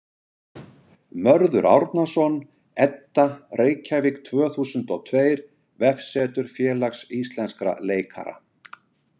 Mörður Árnason, Edda, Reykjavík tvö þúsund og tveir Vefsetur Félags íslenskra leikara.